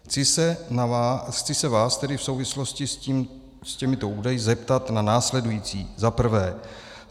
Chci se vás tedy v souvislosti s těmito údaji zeptat na následující: Za prvé: